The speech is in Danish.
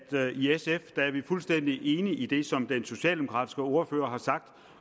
fuldstændig enige i det som den socialdemokratiske ordfører har sagt